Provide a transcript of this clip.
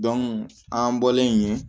an bɔlen yen